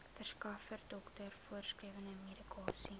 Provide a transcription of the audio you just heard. verskaffer dokter voorgeskrewemedikasie